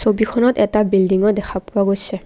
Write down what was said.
ছবিখনত এটা বিল্ডিংও দেখা পোৱা গৈছে।